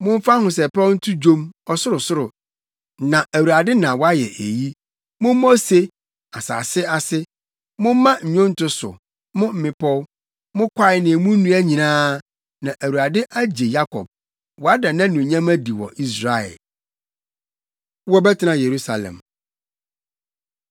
Momfa ahosɛpɛw nto dwom, ɔsorosoro, na Awurade na wayɛ eyi. Mommɔ ose, asase ase. Momma nnwonto so, mo mmepɔw, mo kwae ne emu nnua nyinaa, na Awurade agye Yakob, wada nʼanuonyam adi wɔ Israel. Wɔbɛtena Yerusalem